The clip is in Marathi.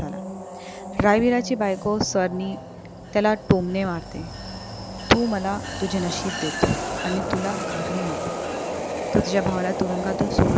रायबीराची बायको स्वरणी त्याला टोमणे मारते. तू मला तुझं नशीब देतो आणि तुला घागरी मिळते. तू तुझ्या भावाला तुरुंगातून सोडवूण आणू